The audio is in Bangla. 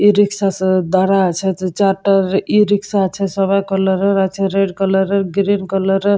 ই রিক্সা দাড়ায়ে আছে দু চারটে ই রিক্সা আছে সাদা কালারের এর আছে রেড কালার এর গ্রীন কালার এর।